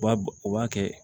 U b'a u b'a kɛ